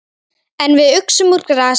En við uxum úr grasi.